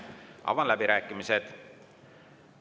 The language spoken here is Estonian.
Avan läbirääkimised.